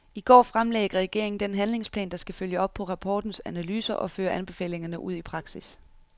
I går fremlagde regeringen den handlingsplan, der skal følge op på rapportens analyser og føre anbefalingerne ud i praksis.